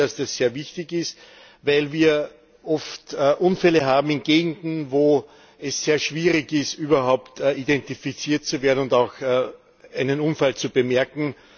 Ich glaube, dass das sehr wichtig ist, weil wir oft Unfälle in Gegenden haben, wo es sehr schwierig ist, überhaupt identifiziert zu werden und auch einen Unfall zu bemerken.